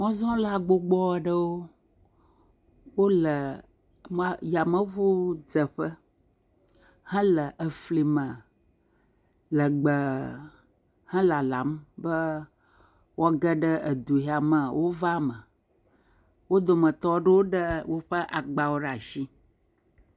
Mɔzɔla gbogbo aɖewo. Wole, ma, yameŋudzeƒe hele eflime lɛgbɛɛɛɛ he lalam be woage ɖe edu yame wova me. Wo dometɔ aɖewo ɖee woƒe agbawo ɖe ashi.